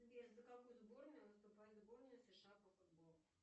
сбер за какую сборную выступает сборная сша по футболу